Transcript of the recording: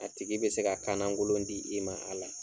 A tigi be se ka kanagolon di i ma a la